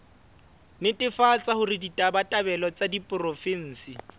netefatsa hore ditabatabelo tsa diporofensi